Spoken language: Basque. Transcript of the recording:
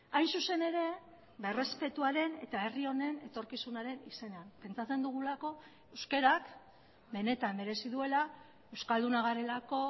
hain zuzen ere errespetuaren eta herri honen etorkizunaren izenean pentsatzen dugulako euskarak benetan merezi duela euskaldunak garelako